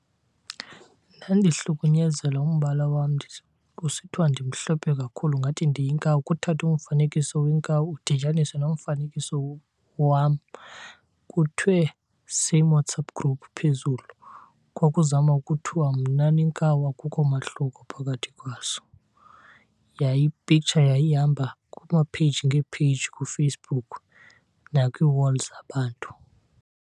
Ndandihlukunyenzelwa umbala wam kusithiwa ndimhlophe kakhulu ngathi ndiyinkawu. Kuthathwe umfanekiso wenkawu udityaniswe nomfanekiso wam kuthiwe same WhatsApp group phezulu. Kwakuzama ukuthiwa mna nenkawu akukho mahluko phakathi kwazo. Yaye i-picture yayihamba kuma page ngee-page kuFacebook nakwii-wall zabantu.